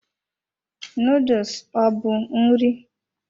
Noodles ọ bụ nri?